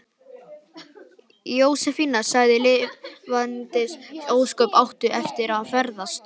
Jósefína sagði: Lifandis ósköp áttu eftir að ferðast.